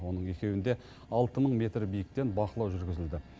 оның екеуінде алты мың метр биіктен бақылау жүргізілді